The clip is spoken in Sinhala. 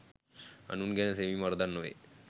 අනුන් ගැන සෙවීම වරදක් නොවේ.